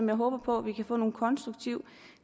jeg håber på at vi kan få en konstruktiv